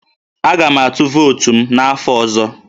Aga m atụ vootu m n'afọ ọzọ